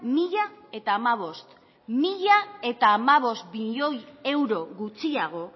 mila hamabost milioi euro gutxiago